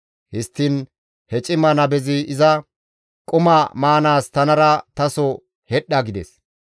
Histtiin he cima nabezi iza, «Quma maanaas tanara taso hedhdha» gides.